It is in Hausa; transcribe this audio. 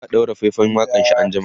za'a ɗaura faifan waƙanshi an jima